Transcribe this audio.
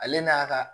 Ale n'a ka